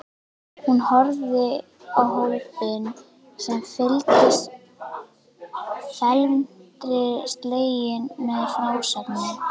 Hún horfði á hópinn sem fylgdist felmtri sleginn með frásögninni.